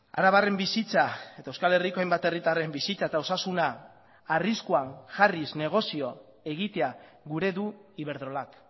arabarren bizitza eta euskal herriko hainbat herritarren bizitza eta osasuna arriskuan jarriz negozio egitea gura du iberdrolak